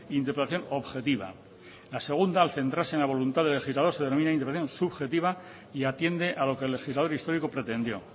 interpretación objetiva la segunda al centrarse en la voluntad del legislador se denomina interpretación subjetiva y atiende a lo que el legislador histórico pretendió